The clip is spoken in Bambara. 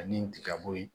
Ani tigabo yen